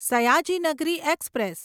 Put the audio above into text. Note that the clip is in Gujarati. સયાજી નગરી એક્સપ્રેસ